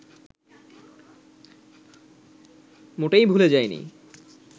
মোটেই ভুলে যায়নি